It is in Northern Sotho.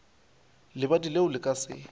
lebadi leo le ka se